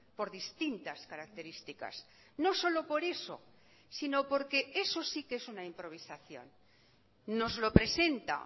por distintas características no solo por eso si no porque eso sí que es una improvisación nos lo presenta